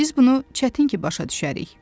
Biz bunu çətin ki başa düşərik.